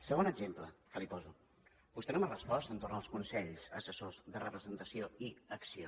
segon exemple que li poso vostè no m’ha respost entorn dels consells assessors de representació i acció